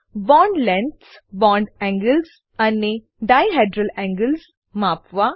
bond lengths bond angles અને dihedral angles માપવા